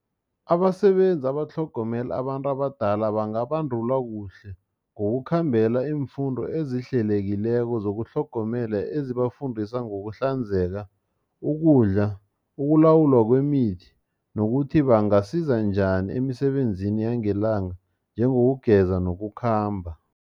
Abasebenzi abatlhogomela abantu abadala bangabandulwa kuhle ngokukhambela iimfundo ezihlelekileko zokutlhogomela ezibafundisa ngokuhlanzeka ukudla ukulawulwa kwemithi nokuthi bangasiza njani emisebenzini yangelanga njengokugeza nokukhamba.